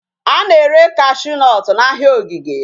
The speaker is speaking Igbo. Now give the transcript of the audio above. A na-ere cashew nut n'ahịa ogige.